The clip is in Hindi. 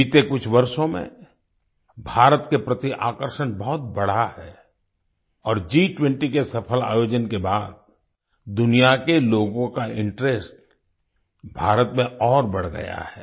बीते कुछ वर्षों में भारत के प्रति आकर्षण बहुत बढ़ा है और G20 के सफल आयोजन के बाद दुनिया के लोगों का इंटरेस्ट भारत में और बढ़ गया है